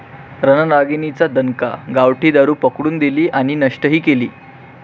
रणरागिणींचा दणका, गावठी दारू पकडून दिली आणि नष्टही केली!